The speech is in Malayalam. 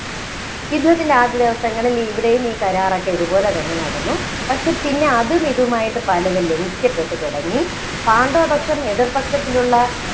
യുദ്ധത്തിന്‍റെ ആദ്യ ദിവസങ്ങളില്‍ ഇവിടെയും ഈ കരാറൊക്കെ ഇതുപോലെ തന്നെ നടന്നു. പക്ഷേ പിന്നെ അതും ഇതുമായിട്ട് പലതും ലംഘിക്കപ്പെട്ടു തുടങ്ങി. പാണ്ഡവപക്ഷം എതിര്‍ പക്ഷത്തിലുള്ള